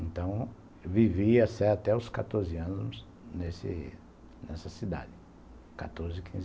Então, vivi até os catorze anos nessa cidade. Catorze, quinze